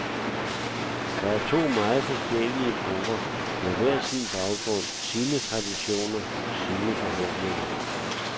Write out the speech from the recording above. Det er to meget forskellige grupper, hver med sin baggrund, sine traditioner, sine forhåbninger.